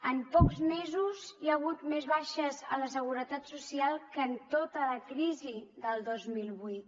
en pocs mesos hi ha hagut més baixes a la seguretat social que en tota la crisi del dos mil vuit